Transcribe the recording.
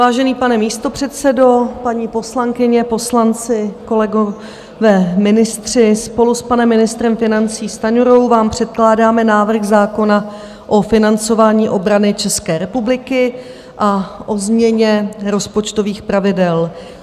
Vážený pane místopředsedo, paní poslankyně, poslanci, kolegové ministři, spolu s panem ministrem financí Stanjurou vám předkládáme návrh zákona o financování obrany České republiky a o změně rozpočtových pravidel.